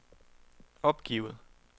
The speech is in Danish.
opgivet